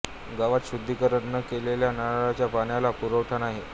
गावात शुद्धिकरण न केलेल्या नळाच्या पाण्याचा पुरवठा नाही